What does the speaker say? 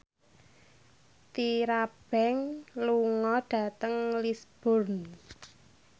Tyra Banks lunga dhateng Lisburn